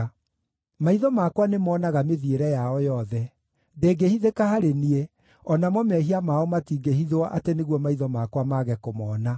Maitho makwa nĩmoonaga mĩthiĩre yao yothe; ndĩngĩhithĩka harĩ niĩ, o namo mehia mao matingĩhithwo atĩ nĩguo maitho makwa mage kũmona.